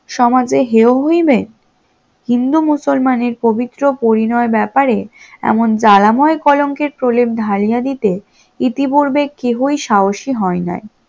সমাজে হেও হইবে, হিন্দু মুসলমানের পবিত্র পরিণয় ব্যাপারে এমন জ্বালাময় কলঙ্কের প্রলেপ ঢালিয়া দিতে ইতিপূর্বে কেহই সাহসী হয় নাই